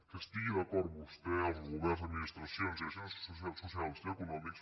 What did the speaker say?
que hi estiguin d’acord vostè els governs administracions i agents socials i econòmics